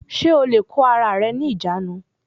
Ṣé o lè kó ara rẹ ní ìjánu